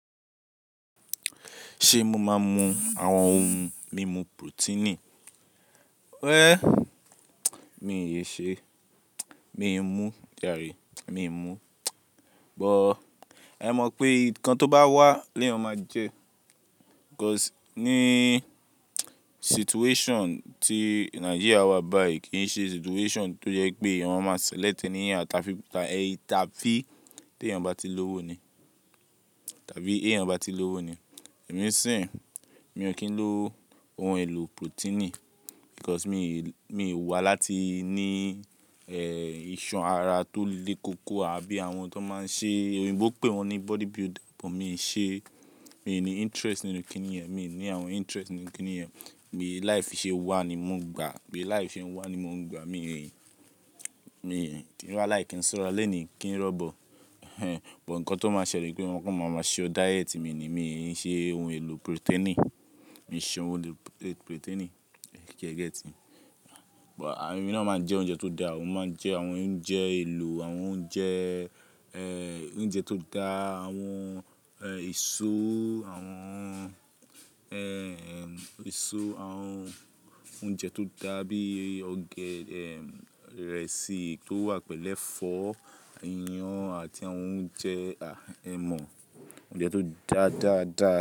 Ṣé mo máa ń mu àwọn ohun mímu pirotini? Ẹ́, mi ò ṣe, mi ò mú jàre, mi ò mú. But e mọ̀ pé nǹkan tó bá wà lẹ́yàn máa jẹ́. Because ní situation tí Nàìjíríà wa báyìí kì í ṣe situation tó jẹ́ pé eyan máma select tẹ́níyàn tá fi, tá ẹ, áfi tí èèyàn bá ti lówó ni. Tàbí éèyàn bá ti lówó ni. Èmi sì ń, mi ò kí ń lo ohun èlò protein because mi ò, mi ò wà láti ní, ẹ́, iṣan ara tó le koko àbí àwọn tó máa ń ṣe, òyìnbó pé wọ́n ní body builder but mi ò ṣe, mi ò ní interest nínú kíni yẹn, mi ò ní àwọn interest nínú kíni yẹn. Bí life ṣe wà ni mò ń gbà, bí life ṣe ń wà ni mò ń gbà. Mi ò yìn, mi ò yìn. Kí wá láì kí n sọ̀rọ̀ lónìí kí n rọ́bọ. Ẹ̀n, but nǹkan tó máa ṣẹlẹ̀ pé wọn kọ́ máa máa ṣe o diet mi ni, mi ò ṣe ohun èlò protein, mi ò ṣe ohun èlò protein. Sẹ́ get? But èmi náà máa ń jẹ oúnjẹ tó da, mo máa ń jẹ àwọn oúnjẹ èlò, àwọn oúnjẹ, ẹ́, oúnjẹ tó da, àwọn, ẹ́, èso, àwọn, ẹ́, èso, àwọn oúnjẹ tó da bí ọ̀gẹ̀dẹ̀, irẹ̀sì tó wà pẹ̀lẹ́fọ́, iyán àti àwọn oúnjẹ, a, ẹ mọ̀, oúnjẹ tó dáa, dáa, dáa.